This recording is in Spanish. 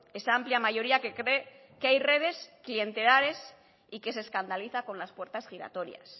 esa amplia mayoría que cree que hay redes clientelares y que se escandaliza con las puertas giratorias